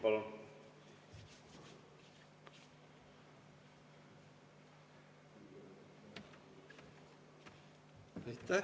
Palun!